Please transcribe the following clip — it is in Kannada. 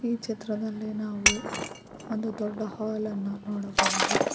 ಈ ಚಿತ್ರದಲ್ಲಿ ನಾವು ಒಂದು ದೊಡ್ಡ ಹಾಲ್ಅನ್ನು ನೋಡಬಹುದು.